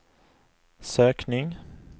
sökning